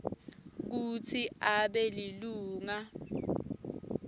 kutsi abe lilunga